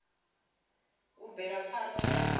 u bvela phanda na dzula